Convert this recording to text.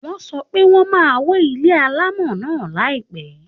Wọ́n sọ pé wọ́n máa wó ilé alámọ̀ náà láìpẹ́